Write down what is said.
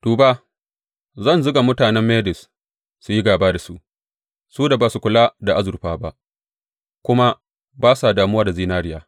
Duba, zan zuga mutanen Medes su yi gāba da su, su da ba su kula da azurfa ba kuma ba sa damuwa da zinariya.